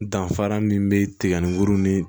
Danfara min bɛ tiga ni kuru ni